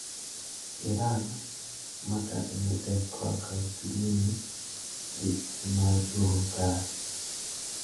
Iran makadhe matek korka uchumi ni gi geno mar duogo kare.